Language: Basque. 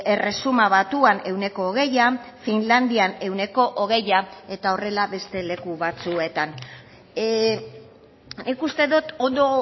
erresuma batuan ehuneko hogeia finlandian ehuneko hogeia eta horrela beste leku batzuetan nik uste dut ondo